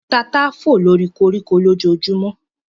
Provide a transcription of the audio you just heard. Tata fò lóri koríko lójojúmọ́